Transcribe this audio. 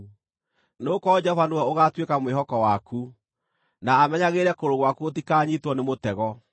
nĩgũkorwo Jehova nĩwe ũgaatuĩka mwĩhoko waku, na amenyagĩrĩre kũgũrũ gwaku gũtikanyiitwo nĩ mũtego.